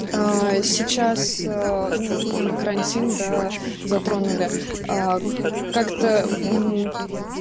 сейчас вот про карантин да затронули как-то